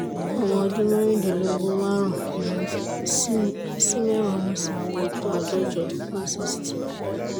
ọmọ ọdún mẹ́rìndínlógún márùn-ún sí mẹ́wàá mo sì wúwo tó àádọ́jọ one sixty